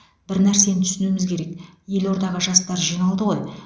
бір нәрсені түсінуіміз керек елордаға жастар жиналды ғой